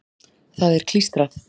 Það er klístrað.